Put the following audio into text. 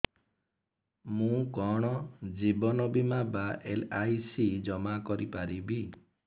ମୁ କଣ ଜୀବନ ବୀମା ବା ଏଲ୍.ଆଇ.ସି ଜମା କରି ପାରିବି